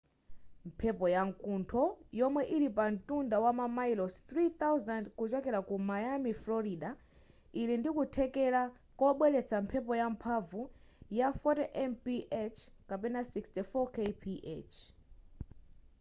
mphepo ya mkuntho yomwe ili pamtunda wa mamayilosi 3,000 kuchokera ku miami frorida ili ndi kuthekera kobweretsa mphepo yamphamvu ya 40 mph 64 kph